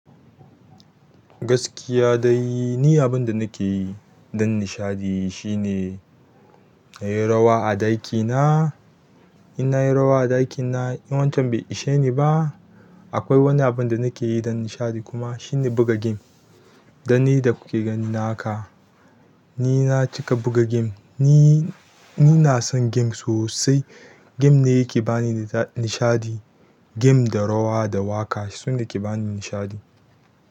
Gaskiya dai, ni abun da nake yi don nishaɗi shine kayi rawa a ɗakina. In na yi rawa a ɗakina, in wancan bai ishe ni ba, akwai wani abun da nake yi don nishaɗi kuma shine buga game. Dan ni da kuke gani na haka, ni na cika buga game. Ni, ni ina son game sosai. Game ne yake bani nishaɗi. Game da rawa da waƙa su ne ke bani nishaɗi.